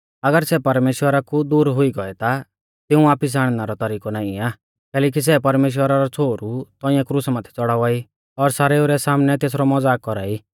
अगर सै परमेश्‍वरा कु दूर हुई गौऐ ता तिऊं वापिस आणनै रौ तरिकौ नाईं आ कैलैकि सै परमेश्‍वरा रौ छ़ोहरु तौंइऐ क्रुसा माथै च़ड़ावा ई और सारेऊ रै सामनै तेसरौ मज़ाक कौरा ई